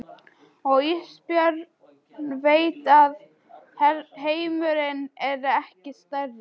Og Ísbjörg veit að heimurinn er ekki stærri.